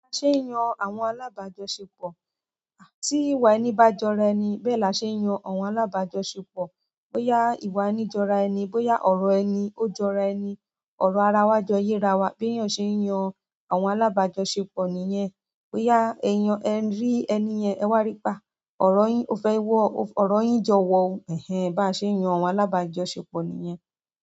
Ba ṣe ń yan àwọn alábàájo sepọ. Tí ìwà ẹni bá jọra ẹni bẹ́ẹ̀ la ṣe ń yan àwọn alábàájo sepọ. Bóyá ìwà ẹni jọra ẹni, bóyá ọ̀rọ̀ ẹni ó jọra ẹni. Ọ̀rọ̀ ara wa jọ yé ara wa. Bí èèyàn ṣe ń yan àwọn alábàájo sepọ nìyẹn. Bóyá ẹ̀yàn ń rí ẹni yen ẹ wá rí pe a, ọ̀rọ̀ yín ò fẹ́ wọ̀, ọ̀rọ̀ yín jọ wọ̀. Ẹ̀hẹn, bá ṣe ń yan àwọn alábàájo sepọ nìyẹn.